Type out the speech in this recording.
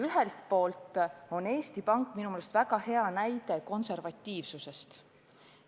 Ühelt poolt on Eesti Pank minu meelest väga hea näide konservatiivsusest.